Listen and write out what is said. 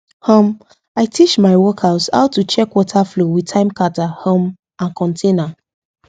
um i teach my workers how to check water flow with time counter um and container